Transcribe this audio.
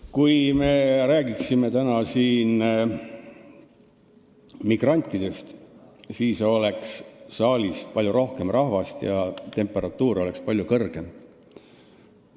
Kui me räägiksime siin täna migrantidest, siis oleks saalis palju rohkem rahvast ja temperatuur oleks palju kõrgem.